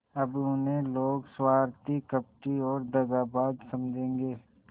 अब उन्हें लोग स्वार्थी कपटी और दगाबाज समझेंगे